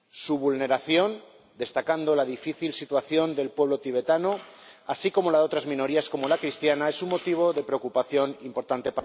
Su vulneración —cabe destacar la difícil situación del pueblo tibetano, así como la de otras minorías como la cristiana— es un motivo de preocupación importante